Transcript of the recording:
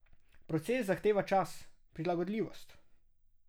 Proces zahteva čas, prilagodljivost.